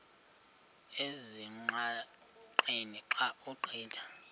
ezingqaqeni xa ugqitha